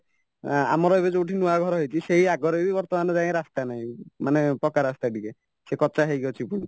ଆଁ ଆମର ଏବେ ଯୋଉଠି ନୂଆ ଘର ହେଇଚି ସେଇ ଆଗରେବି ବର୍ତ୍ତମାନ ଯାଏଁ ରାସ୍ତା ନାହିଁ ମାନେ ପକାରାସ୍ତା ଟିକେ ସେ କଚା ହେଇକି ଅଛି ପୁଣି